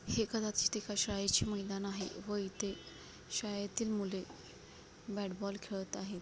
हे कदाचित एका शाळेचे मैदान आहे व इथे शालेतील मुले ब्याट बोल खेलत आहेत.